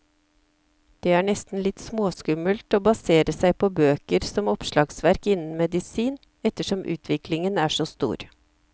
Det er nesten litt småskummelt å basere seg på bøker som oppslagsverk innen medisin, ettersom utviklingen er så stor.